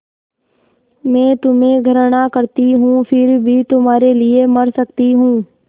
मैं तुम्हें घृणा करती हूँ फिर भी तुम्हारे लिए मर सकती हूँ